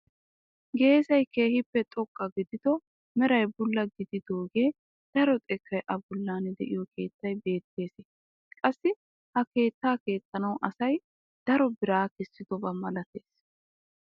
Geessay keehippe xoqqa gidido meray bulla gididoogee daro xekkay a bollan de'iyoo keettay beettees. qassi ha keettaa keexxanawu asay daro biraa kessidoba malatees.